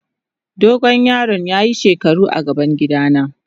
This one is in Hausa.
Dogo yaron ya yi shekaru a gaban gida na.